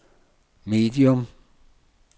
medium